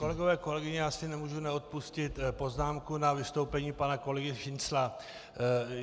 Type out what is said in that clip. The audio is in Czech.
Kolegové, kolegyně, já si nemůžu neodpustit poznámku na vystoupení pana kolegy Šincla.